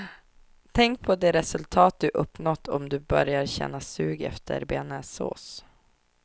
Tänk på de resultat du uppnått om du börjar känna sug efter bearnaisesås.